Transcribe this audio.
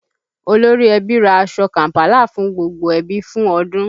Olórí ẹbí ra aṣọ Kàm̀pálà fún gbogbo ẹbí fún odun